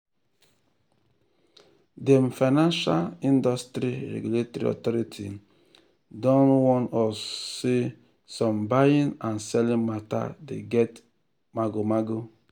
dem financial industry regulatory authority don warn us say some buying and selling matter dey get magomago